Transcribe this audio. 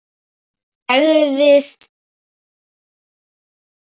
Hún sagðist ekki vera svöng.